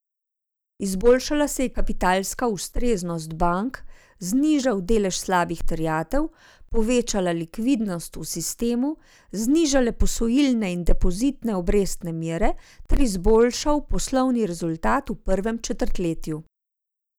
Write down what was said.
Izboljšala se je kapitalska ustreznost bank, znižal delež slabih terjatev, povečala likvidnost v sistemu, znižale posojilne in depozitne obrestne mere ter izboljšal poslovni rezultat v prvem četrtletju.